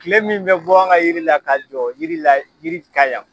Kile min bɛ bɔ an ka yiri la ka jɔ yiri yiri kan yan.